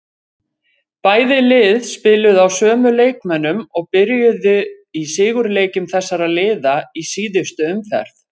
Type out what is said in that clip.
Bæði lið spiluðu á sömu leikmönnum og byrjuðu í sigurleikjum þessara liða í síðustu umferð.